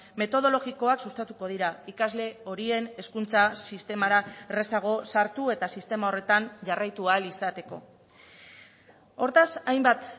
metodologikoak sustatuko dira ikasle horien hezkuntza sistemara errazago sartu eta sistema horretan jarraitu ahal izateko hortaz hainbat